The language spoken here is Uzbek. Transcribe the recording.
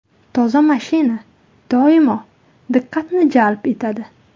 Toza mashina doimo diqqatni jalb etadi.